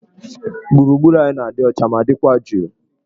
Gburugburu anyị na-adị ọcha ma dịkwa jụụ.